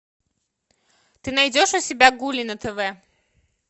ты найдешь у себя гули на тв